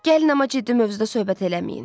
Gəlin, amma ciddi mövzuda söhbət eləməyin.